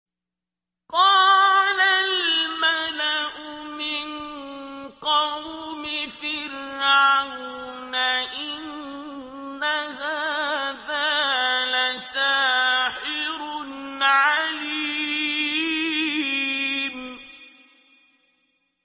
قَالَ الْمَلَأُ مِن قَوْمِ فِرْعَوْنَ إِنَّ هَٰذَا لَسَاحِرٌ عَلِيمٌ